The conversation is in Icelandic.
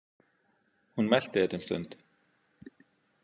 Hún melti þetta um stund.